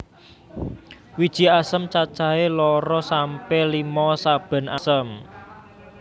Wiji asem cacahe loro sampe limo saben asem